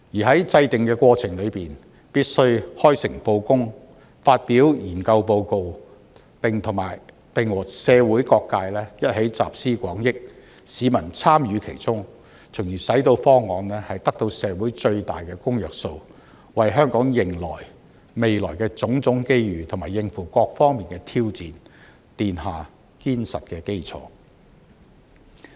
在制訂的過程中，必須開誠布公，發表研究報告，並與社會各界一起集思廣益，讓市民參與其中，從而使到方案得到社會最大的公約數，為香港迎接未來的種種機遇，以及應付各方面的挑戰，奠下堅實的基礎。